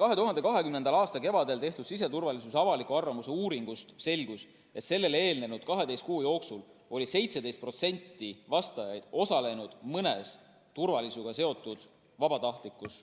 2020. aasta kevadel tehtud siseturvalisuse avaliku arvamuse uuringust selgus, et sellele eelnenud 12 kuu jooksul oli 17% vastajaid osalenud mõnes turvalisusega seotud vabatahtlikus